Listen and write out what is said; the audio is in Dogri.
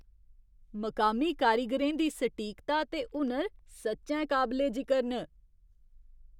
मकामी कारीगरें दी सटीकता ते हुनर सच्चैं काबले जिकर न।